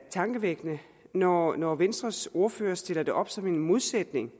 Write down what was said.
tankevækkende når når venstres ordfører stiller det op som en modsætning